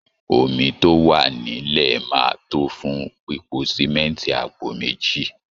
Omi tó wà nílẹ̀ máa tó fún pípo símẹ́ńtì àpò méjì